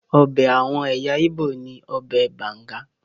Ọbẹ̀ àwọn ẹ̀yà Igbo ni ọbẹ̀ banga.